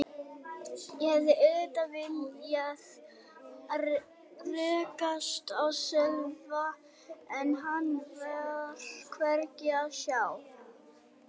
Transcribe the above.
Ég hefði auðvitað viljað rekast á Sölva en hann var hvergi að sjá.